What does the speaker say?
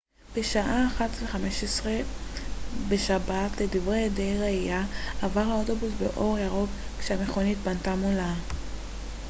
בשעה 01:15 בשבת לדברי עדי ראייה עבר האוטובוס באור ירוק כשהמכונית פנתה מולה